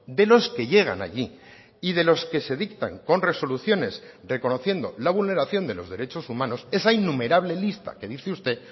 de los que llegan allí y de los que se dictan con resoluciones reconociendo la vulneración de los derechos humanos esa innumerable lista que dice usted